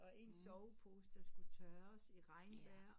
Og ens sovepose der skulle tøres i regnvejr